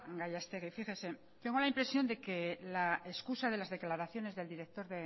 gallastegui fíjese tengo la impresión de que la excusa de las declaraciones del director